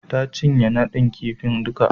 Ta cinye nadin kifi duka.